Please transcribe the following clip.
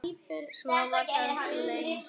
Svo var það gleymt.